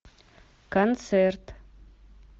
концерт